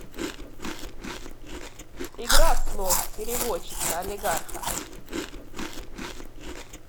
игра слов переводчица олигарха